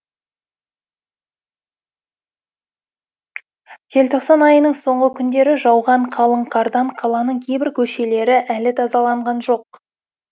желтоқсан айының соңғы күндері жауған қалың қардан қаланың кейбір көшелері әлі тазаланған жоқ